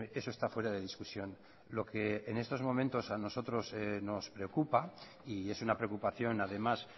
eso está fuera de discusión lo que en estos momentos a nosotros nos preocupa y es una preocupación además